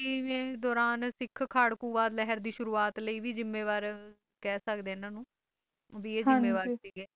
ਅੱਸੀ ਦੌਰਾਨ ਸਿੱਖ ਖਾੜਕੂਵਾਦ ਲਹਿਰ ਲਈ ਵੀ ਸ਼ੁਰੂਆਤ ਲਈ ਵੀ ਜੁੰਮੇਵਾਰ ਕਹਿ ਸਕਦੇ ਹਾਂ ਇਨ੍ਹਾਂ ਨੂੰ ਵੀ ਇਹ ਜੁੰਮੇਵਾਰ ਸੀਗੇ